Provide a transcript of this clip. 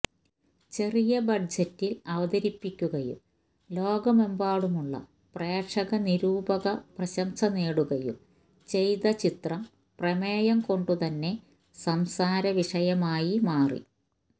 ചെറിയ ബഡ്ജറ്റില് അവതരിപ്പിക്കുകയും ലോകമെമ്പാടുമുള്ള പ്രേക്ഷകനിരൂപക പ്രശംസ നേടുകയും ചെയ്ത ചിത്രം പ്രമേയം കൊണ്ടുതന്നെ സംസാര വിഷയമായി മാറി